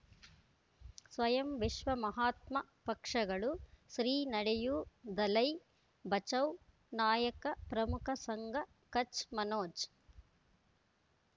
ಸ್ವಯಂ ವಿಶ್ವ ಮಹಾತ್ಮ ಪಕ್ಷಗಳು ಶ್ರೀ ನಡೆಯೂ ದಲೈ ಬಚೌ ನಾಯಕ ಪ್ರಮುಖ ಸಂಘ ಕಚ್ ಮನೋಜ್